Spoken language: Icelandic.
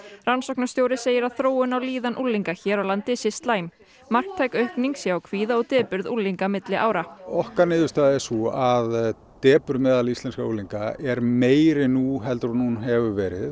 rannsóknarstjóri segir að þróun á líðan unglinga hér á landi sé slæm marktæk aukning sé á kvíða og depurð unglinga á milli ára okkar niðurstaða er sú að depurð meðal íslenskra unglinga er meiri nú heldur en hún hefur verið